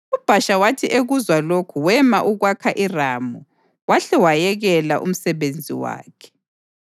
UBhasha wathi ekuzwa lokhu wema ukwakha iRama wahle wayekela umsebenzi wakhe.